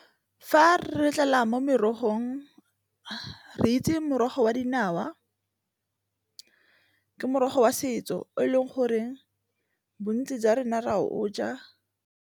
Fa re tlala mo merogong re itse morogo wa dinawa, ke morogo wa setso o e leng goreng bontsi jwa rona re a o ja.